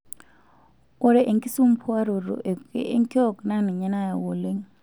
Ore enkisumbuaroto ekuke enkiok naa ninye nayau oleng'.